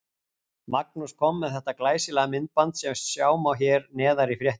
Magnús kom með þetta glæsilega myndband sem sjá má hér neðar í fréttinni.